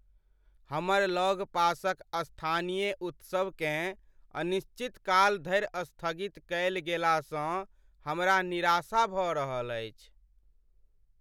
हमर लगपासक स्थानीय उत्सवकेँ अनिश्चितकाल धरि स्थगित कयल गेलासँ हमरा निराशा भऽ रहल अछि।